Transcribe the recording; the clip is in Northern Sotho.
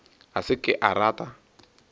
a se ke a rata